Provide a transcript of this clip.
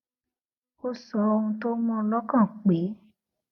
ó sọ ohun tó mú u lókàn pé